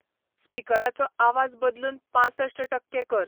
स्पिकराचो आवाज बदलून पांसश्ट टक्के कर